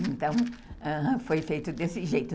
Então, foi feito desse jeito.